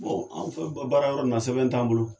Bɔn an fɛn o fɛn be baarayɔrɔ in na sɛbɛn t'an bolo